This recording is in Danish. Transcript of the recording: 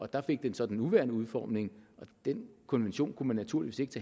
der fik den så den nuværende udformning den konvention kunne man naturligvis ikke